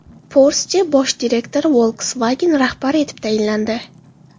Porsche bosh direktori Volkswagen rahbari etib tayinlandi.